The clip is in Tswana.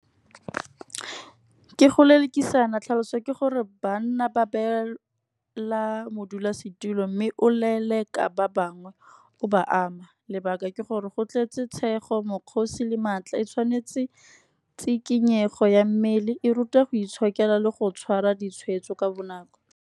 Ke go lelekisana tlhaloso ke gore banna ba beela modulasetulo mme o leleka ba bangwe. O ba ama lebaka ke gore go tletse tshego, mokgosi le maatla. E tshwanetse tsikinyego ya mmele, e ruta go itshokela le go tshwara ditshweetso ka bonako.